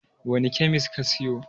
wanene kyamis ka siyo?